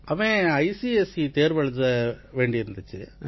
அவன் ஐசிஎஸ்இ தேர்வு எழுத வேண்டியிருந்திச்சு